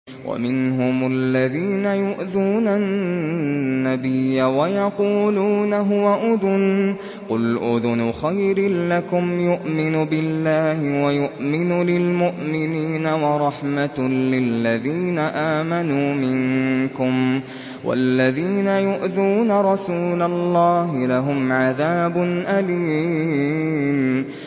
وَمِنْهُمُ الَّذِينَ يُؤْذُونَ النَّبِيَّ وَيَقُولُونَ هُوَ أُذُنٌ ۚ قُلْ أُذُنُ خَيْرٍ لَّكُمْ يُؤْمِنُ بِاللَّهِ وَيُؤْمِنُ لِلْمُؤْمِنِينَ وَرَحْمَةٌ لِّلَّذِينَ آمَنُوا مِنكُمْ ۚ وَالَّذِينَ يُؤْذُونَ رَسُولَ اللَّهِ لَهُمْ عَذَابٌ أَلِيمٌ